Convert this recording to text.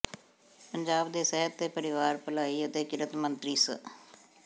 ਪੰਜਾਬ ਦੇ ਸਿਹਤ ਤੇ ਪਰਿਵਾਰ ਭਲਾਈ ਅਤੇ ਕਿਰਤ ਮੰਤਰੀ ਸ